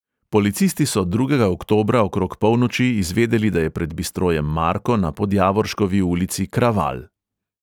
Policisti so drugega oktobra okrog polnoči izvedeli, da je pred bistrojem marko na podjavorškovi ulici kraval.